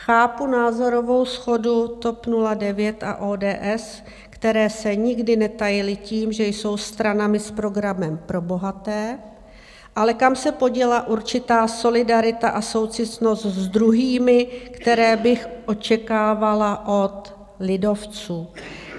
Chápu názorovou shodu TOP 09 a ODS, které se nikdy netajily tím, že jsou stranami s programem pro bohaté, ale kam se poděla určitá solidarita a soucitnost s druhými, které bych očekávala od lidovců?